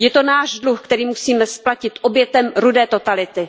Je to náš dluh, který musíme splatit obětem rudé totality.